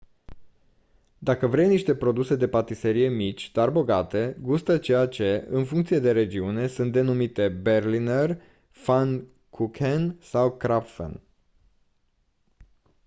dacă vrei niște produse de patiserie mici dar bogate gustă ceea ce în funcție de regiune sunt denumite berliner pfannkuchen sau krapfen